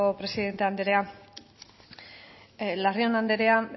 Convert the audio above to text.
presidente andrea larrion andrea